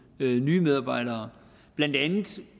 nye medarbejdere blandt andet